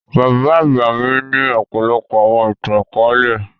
Bábà àgba mi ni ọ̀pọlọpọ̀ àwọn ìtan-àkọọlẹ.